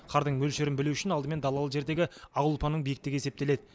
қардың мөлшерін білу үшін алдымен далалы жердегі ақ ұлпаның биіктігі есептеледі